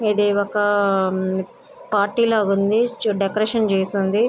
ఇది ఒక పార్టీ లాగా ఉంది చుట్టూ డెకరేషన్ చేసి ఉంది.